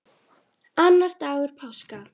Annar dagur páska.